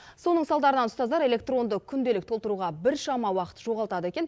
соның салдарынан ұстаздар электронды күнделік толтыруға біршама уақыт жоғалтады екен